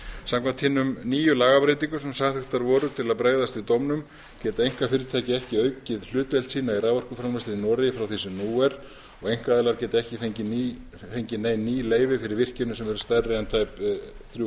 samkvæmt hinum nýju lagabreytingum sem samþykktar voru til að bregðast við dómnum geta einkafyrirtæki ekki aukið hlutdeild sína í raforkuframleiðslunni í noregi frá því sem nú er og einkaaðilar geta ekki fengið nein ný leyfi fyrir virkjunum sem eru stærri en tæp þrjú